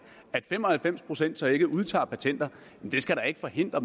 at fem og halvfems procent så ikke udtager patenter skal da ikke forhindre